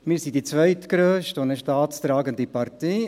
Wir sind die zweitgrösste und eine staatstragende Partei.